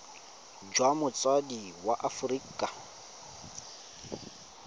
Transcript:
jwa motsadi wa mo aforika